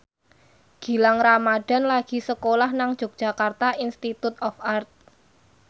Gilang Ramadan lagi sekolah nang Yogyakarta Institute of Art